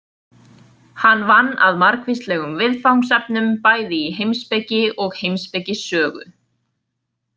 Hann vann að margvíslegum viðfangsefnum bæði í heimspeki og heimspekisögu.